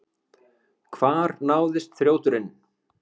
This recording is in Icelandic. Hvar náðist þrjóturinn?